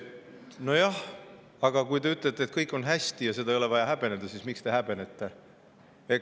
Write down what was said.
Nojah, aga kui te ütlete, et kõik on hästi ja seda ei ole vaja häbeneda, siis miks te häbenete?